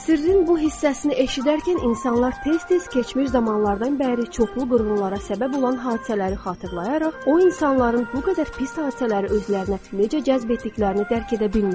Sirrin bu hissəsini eşidərkən insanlar tez-tez keçmiş zamanlardan bəri çoxlu qırğınlara səbəb olan hadisələri xatırlayaraq, o insanların bu qədər pis hadisələri özlərinə necə cəzb etdiklərini dərk edə bilmirlər.